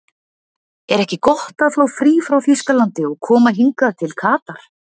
Er ekki gott að fá frí frá Þýskalandi og koma hingað til Katar?